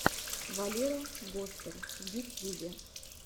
валера гостер в ютьюбе